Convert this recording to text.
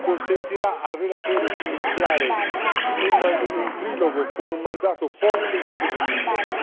consentirà al relatore di iniziare un trilogo con un mandato forte e definito.